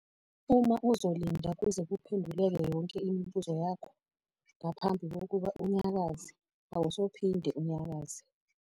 Uma uzolinda kuze kuphenduleke yonke imibuzo yakho ngaphambi kokuba unyakaze, awusophinde unyakaze.